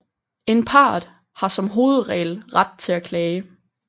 En part har som hovedregel ret til at klage